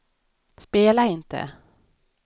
spela inte